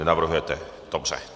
Nenavrhujete, dobře.